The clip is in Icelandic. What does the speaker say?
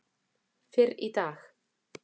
fyrr í dag.